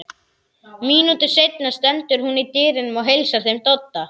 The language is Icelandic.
Mínútu seinna stendur hún í dyrunum og heilsar þeim Dodda.